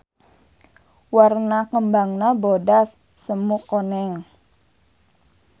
Warna kembangna bodas semu koneng.